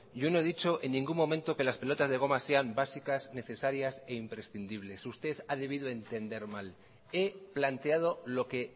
yo no he dicho en ningún momento que las pelotas de goma sean básicas necesarias e imprescindibles usted ha debido entender mal he planteado lo que